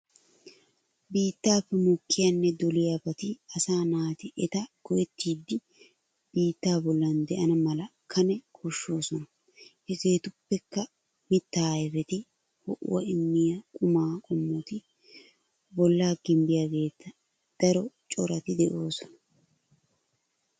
Bittappe mokkiyane doliyabati asa naati etta go'ettiddi bittaa bollana de'ana mala kane koshoosona. Hegetuppeka mitta ayfeti, ho'uwa immiya quma qomoti bolla gimbbiyaaget daro corati de'oosona.